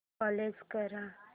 close कर